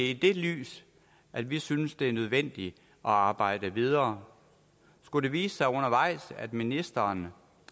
i det lys at vi synes det er nødvendigt at arbejde videre skulle det vise sig undervejs at ministeren